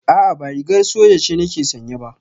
A'a ba rigar soja ce nake sanye ba